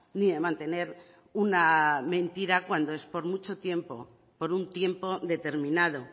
ni de mantener una mentira cuando es por mucho tiempo por un tiempo determinado